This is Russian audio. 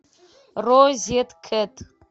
розеткед